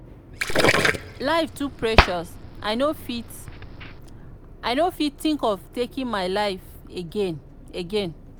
life too precious i no fit think of taking my life again. again.